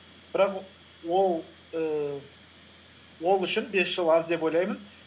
бірақ ііі ол үшін бес жыл аз деп ойлаймын